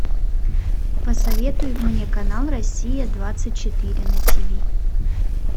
посоветуй мне канал россия двадцать четыре на ти ви